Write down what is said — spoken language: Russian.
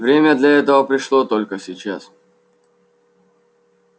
время для этого пришло только сейчас